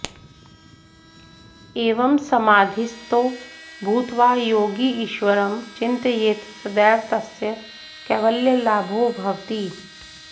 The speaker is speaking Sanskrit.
एवं समाधिस्थो भूत्वा योगी ईश्वरं चिन्तयेत् तदैव तस्य कैवल्यलाभो भवति